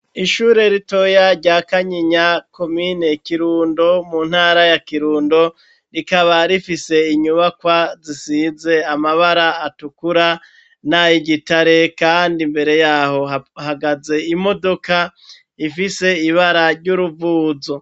Ishure ritoya rya Kanyinya, komine Kirundo, mu ntara ya Kirundo, rikaba rifise inyubakwa, zisize amabara atukura nay'igitare, kandi imbere y'aho hahagaze imodoka, ifise ibara ry'uruvuzo.